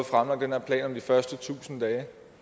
fremlagt den her plan om de første tusind dage